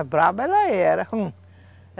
Ah, brava ela era, rum.